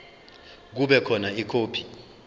kube khona ikhophi